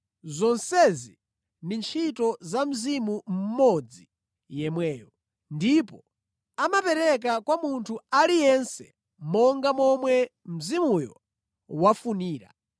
Zonsezi ndi ntchito za Mzimu mmodzi yemweyo, ndipo amapereka kwa munthu aliyense monga momwe Mzimuyo wafunira.